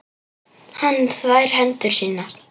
Hann þvær hendur sínar.